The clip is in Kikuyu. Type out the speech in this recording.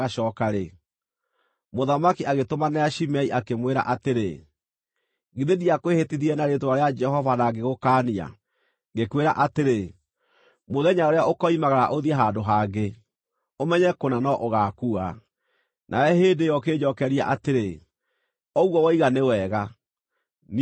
mũthamaki agĩtũmanĩra Shimei, akĩmwĩra atĩrĩ, “Githĩ ndiakwĩhĩtithirie na rĩĩtwa rĩa Jehova na ngĩgũkaania, ngĩkwĩra atĩrĩ, ‘Mũthenya ũrĩa ũkoimagara ũthiĩ handũ hangĩ, ũmenye kũna no ũgaakua’? Nawe hĩndĩ ĩyo ũkĩnjookeria atĩrĩ, ‘Ũguo woiga nĩ wega. Niĩ nĩngwathĩka.’